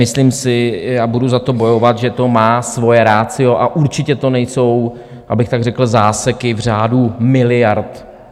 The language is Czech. Myslím si a budu za to bojovat, že to má svoje ratio, a určitě to nejsou, abych tak řekl, záseky v řádu miliard.